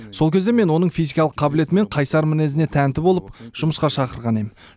сол кезде мен оның физикалық қабілеті мен қайсар мінезіне тәнті болып жұмысқа шақырған ем